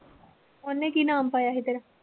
ਉਹਨੇ ਕੀ ਨਾਮ ਪਾਇਆ ਸੀ ਤੇਰਾ?